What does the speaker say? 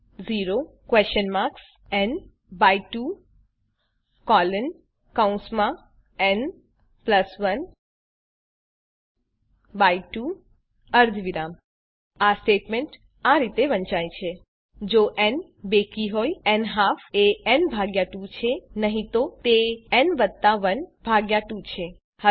ન 2 ન 1 2 અર્ધવિરામ આ સ્ટેટમેંટ આ રીતે વંચાય છે જો ન બેકી હોય ન્હાલ્ફ એ ન ભાગ્યા ૨ છે નહી તો તે ન વત્તા ૧ ભાગ્યા ૨ છે